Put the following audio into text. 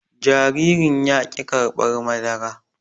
Jaririn yaki karɓar madara